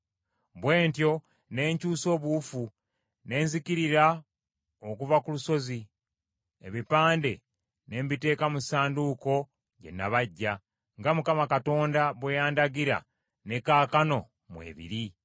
Bwe ntyo ne nkyusa obuwufu ne nzikirira okuva ku lusozi, ebipande ne mbiteeka mu Ssanduuko gye nabajja, nga Mukama Katonda bwe yandagira, ne kaakano mwe biri.